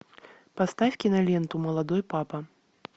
поставь киноленту молодой папа